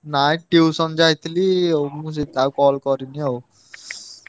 ନାଇଁ tuition ଯାଇଥିଲି ଆଉ ମୁଁ ସେ ଆଉ call କରିନି ଆଉ।